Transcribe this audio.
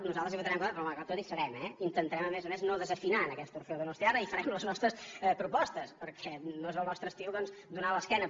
nosaltres hi votarem en contra però malgrat tot hi serem eh i intentarem a més a més no desafinar en aquest orfeó donostiarra i farem les nostres propostes perquè no és el nostre estil doncs donar l’esquena